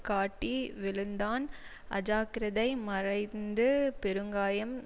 காட்டி விழுந்தான் அஜாக்கிரதை மறைந்து பெருங்காயம்